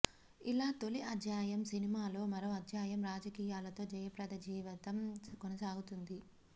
ఇలా తోలి అధ్యాయం సినిమాలో మరో అధ్యాయం రాజకీయాలతో జయప్రద జీవితం కొనసాగుతుంది